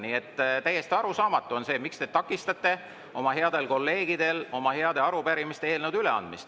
Nii et täiesti arusaamatu on see, miks te takistate headel kolleegidel oma heade arupärimiste ja eelnõude üleandmist.